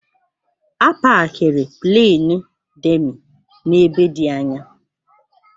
A pakiri Pleenị Demi n'ebe dị anya.